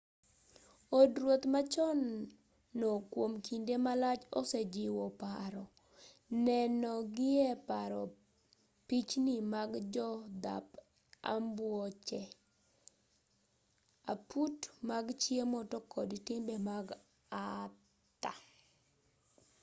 od ruoth machon no kuom kinde malach osejiwo paro neno gie paro pichni mag jodhap ambuoche aput mag chiemo to kod timbe mag arthur